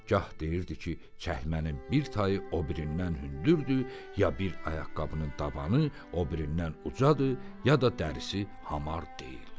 gah deyirdi ki, çəkmənin bir tayı o birindən hündürdür, ya bir ayaqqabının dabanı o birindən ucadır, ya da dərisi hamar deyil.